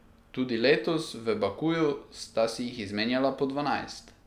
Tudi letos v Bakuju sta si jih izmenjala po dvanajst.